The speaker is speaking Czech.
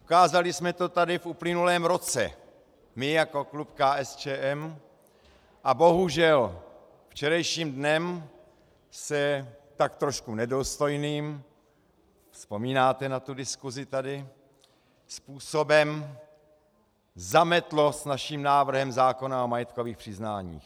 Ukázali jsme to tady v uplynulém roce, my jako klub KSČM, a bohužel, včerejším dnem se tak trochu nedůstojným, vzpomínáte na tu diskusi tady, způsobem zametlo s naším návrhem zákona o majetkových přiznáních.